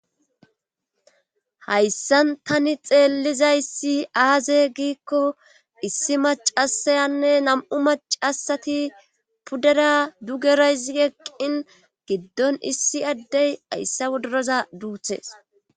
Hayssan tani xeellizayssi aaze giikko issi macasayanne nam'u macasati puddera dugerayzieqqin giddon issi addey ayssa wodoroza duuthees